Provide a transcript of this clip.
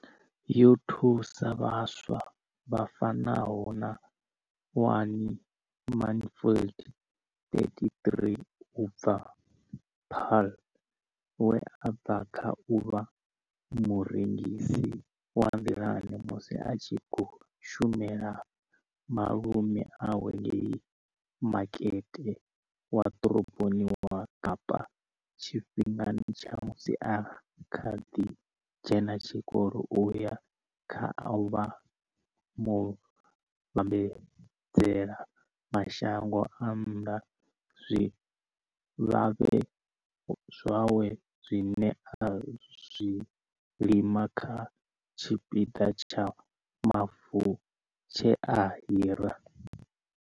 Yo thusa vhaswa vha fanaho na Wayne Mansfield, 33, u bva Paarl, we a bva kha u vha murengisi wa nḓilani musi a tshi khou shumela malume awe ngei Makete wa Ḓoroboni ya Kapa tshifhingani tsha musi a kha ḓi dzhena tshikolo u ya kha u vha muvhambadzela mashango a nnḓa zwikavhavhe zwawe zwine a zwi lima kha tshipiḓa tsha mavu tshe a hira.